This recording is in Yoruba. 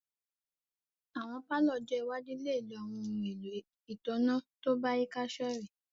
Awọn palọ ọ́jọ iwaju le lo awọn ohun elo itanna to bayika sorẹ̀